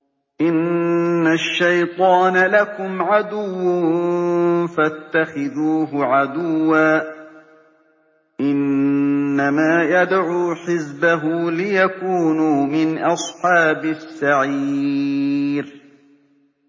إِنَّ الشَّيْطَانَ لَكُمْ عَدُوٌّ فَاتَّخِذُوهُ عَدُوًّا ۚ إِنَّمَا يَدْعُو حِزْبَهُ لِيَكُونُوا مِنْ أَصْحَابِ السَّعِيرِ